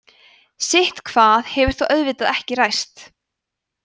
sitthvað hefur þó auðvitað ekki ræst